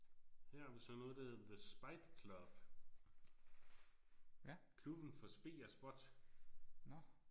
Her har vi så noget der hedder the spite club. Klubben for spe og spot